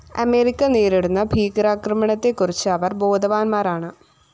America നേരിടുന്ന ഭീകരാക്രമണത്തെക്കുറിച്ച് അവര്‍ ബോധവാന്മാരാണ്